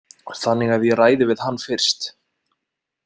Þannig að ég ræði við hann fyrst.